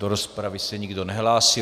Do rozpravy se nikdo nehlásí.